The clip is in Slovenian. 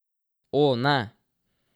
O, ne!